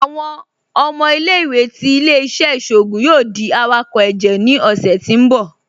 Awọn ọmọ ilẹ̀-iwé ti ilẹ̀-iṣẹ̀ iṣoogun yoo di awakọ ẹjẹ ni ọṣẹ ti n bọ̀.